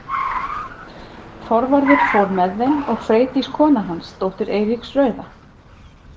Þorvarður fór með þeim og Freydís kona hans, dóttir Eiríks rauða.